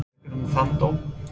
Hvað fannst Helga um þann dóm?